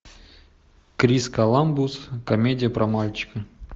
крис коламбус комедия про мальчика